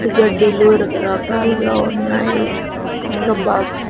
గడ్డి లో రకరకాలుగా ఉన్నాయి ఇంగ బాక్స్ --